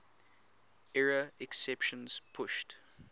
error exceptions pushed